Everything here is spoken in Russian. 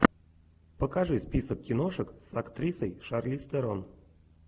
покажи список киношек с актрисой шарлиз терон